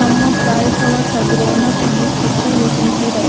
Some of cauliflowers are grown up in this picture we can see that.